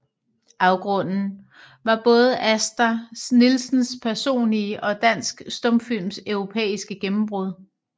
Afgrunden var både Asta Nielsens personlige og dansk stumfilms europæiske gennembrud